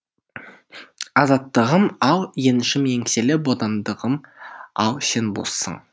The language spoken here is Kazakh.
азаттығым ау еншім еңселі бодандығым ау сен боссың